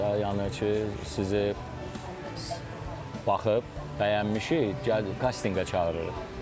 Yəni ki, sizi baxıb bəyənmişik, gəldi kastinqə çağırırıq.